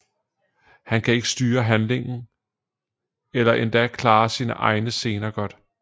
Han kan ikke styre handling eller endda klare sine egne scener godt